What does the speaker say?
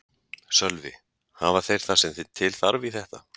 Sölvi: Hafa þeir það sem til þarf í þetta?